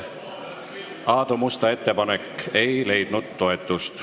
Aadu Musta ettepanek ei leidnud toetust.